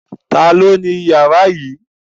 Ta ni ó ni ìyàrá yìí?